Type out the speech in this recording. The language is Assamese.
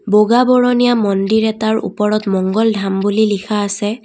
বগা বৰণীয়া মন্দিৰ এটাৰ উপৰত মংগল ধাম বুলি লিখা আছে।